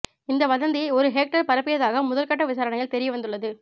இந்த வதந்தியை ஒரு ஹேக்கர் பரப்பியதாக முதல்கட்ட விசாரணையில் தெரிய வந்துள்ளது